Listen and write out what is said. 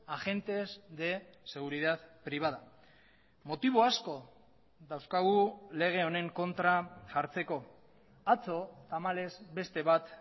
agentes de seguridad privada motibo asko dauzkagu lege honen kontra jartzeko atzo tamalez beste bat